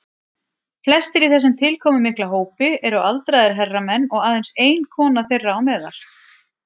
Flestir í þessum tilkomumikla hópi eru aldraðir herramenn og aðeins ein kona þeirra á meðal.